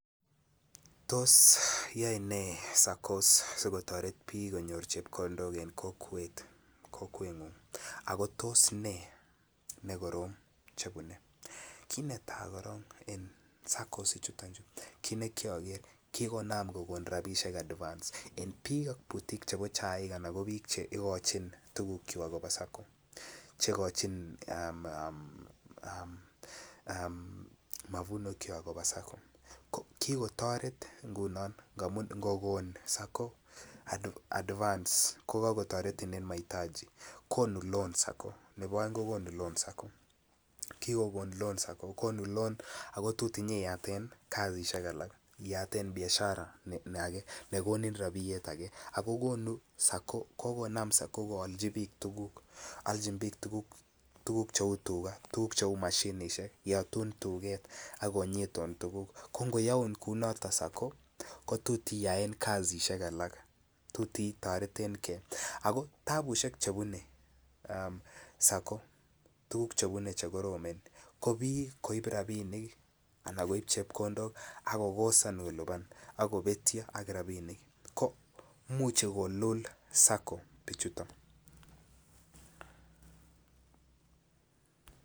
Tos aine SACCOs sokotoret piik konyor chepkondok ing kokwengung ako tos ne nekorom chepune, kit netaa korong en Saccos chuton chu kikonam kogon rabinik advance en biik butik chebo chaik ana biik chegoin tugukwak kobaa Sacco chegochin um mavuno kwak kobaa Sacco ko kikotoret ngunon kogon Sacco advance kogokotoretin en mahitaji. Konuu loan Sacco nebo oeng ko konuu loan Sacco kigon loan Sacco ako ngogon loan ko tot inyon iyaten kazishek alak. Iyaten Biashara age ne konin rabiyet age ako gonuu kokonam Sacco koalji biik tuguk, oljin biik tuguk che uu tuga tuguk che uu Moshinishek yotun tuget akonyitun tuguk ko ngoyoun kouu noton Sacco kotot iyaen kazishek alak tot itoretengee. Ako taabushek chebune Sacco chebune che koroomen ko biik koib rabinik anan koib chepkondok ak kobetyo ak rabinik ko imuche kolul Sacco bichuton